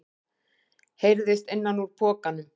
heyrðist innan úr pokanum.